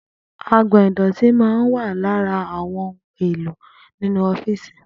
Agbò̩n ìdò̩tí máa ń wà lára àwo̩n ohun èlò inú ó̩fíìsì